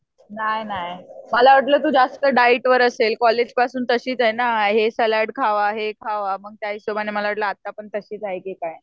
नाही नाही. मला वाटलं तू जास्त डाएट वर असेल कॉलेजपासून तशीच ये ना हे सॅलड खावा हे खावा मग त्याहिशोबाने मला वाटलं आत्ता पण तशीच आहे का काय?